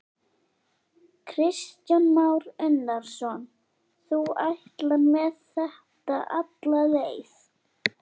Kristján Már Unnarsson: Þú ætlar með þetta alla leið?